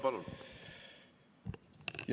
Palun!